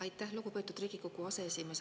Aitäh, lugupeetud Riigikogu aseesimees!